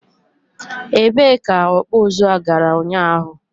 e bee ka ọkpụ ụzụ a gara ụnyaahụ?